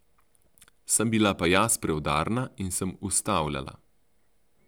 Sem bila pa jaz preudarna in sem ustavljala.